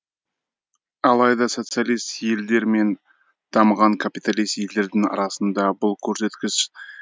алайда социалист елдер мен дамыған капиталист елдердің арасында бұл көрсеткіш